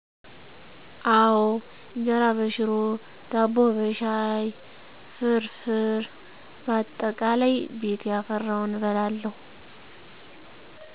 አወ እጀራ በሽሮ፣ ዳቦ በሻይ፣ ፍርፍር ባጠቃላይ ቤት ያፈራውን እበላለሁ